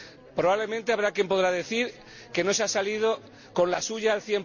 Probablemente habrá quién pueda decir que no se ha salido con la suya al